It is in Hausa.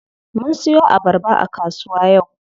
Mun siyo abarba a kasuwa yau.